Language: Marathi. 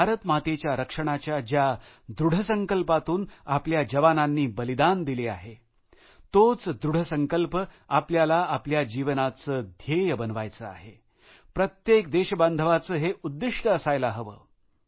भारतमातेच्या रक्षणाच्या ज्या दृढसंकल्पातून आपल्या जवानांनी बलिदान दिले आहे तोच दृढ संकल्प आपल्याला आपल्या जीवनाचे ध्येय बनवायचे आहे प्रत्येक देशबांधवाचे हे उद्दिष्ट असायला हवे